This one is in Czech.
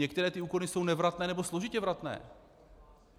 Některé ty úkony jsou nevratné nebo složitě vratné.